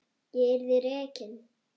Ég yrði rekin.